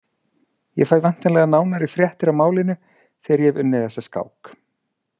Ég fæ væntanlega nánari fréttir af málinu þegar ég hef unnið þessa skák.